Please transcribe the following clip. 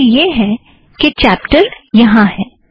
गलती यह है कि चॅप्टर यहाँ है